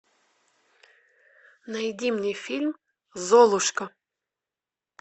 найди мне фильм золушка